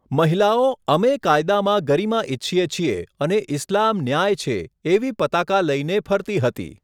મહિલાઓ 'અમે કાયદામાં ગરિમા ઈચ્છીએ છીએ' અને 'ઈસ્લામ ન્યાય છે' એવી પતાકા લઈને ફરતી હતી.